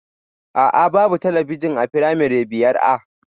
A'a, babu talabijin a firamare biyar A